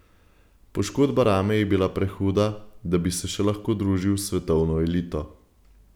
Poškodba rame je bila prehuda, da bi se še lahko družil s svetovno elito.